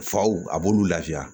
Faw a b'olu lafiya